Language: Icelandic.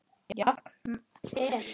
Jafnan er